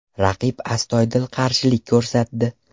Raqib astoydil qarshilik ko‘rsatdi.